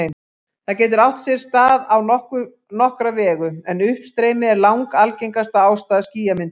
Það getur átt sér stað á nokkra vegu, en uppstreymi er langalgengasta ástæða skýjamyndunar.